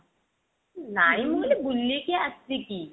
ନାଇଁ ମୁଁ କହିଲି ବୁଲିକି ଆସିକି